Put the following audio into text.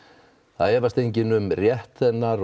það efast enginn um rétt hennar